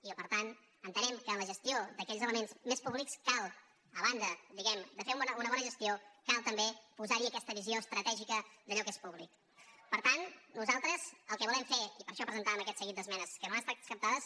i per tant entenem que a la gestió d’aquells elements més públics a banda diguem ne de fer ne una bona gestió cal també posar hi també aquesta visió estratègica d’allò que és públicper tant nosaltres el que volem fer i per això presentàvem aquest seguit d’esmenes que no han estat acceptades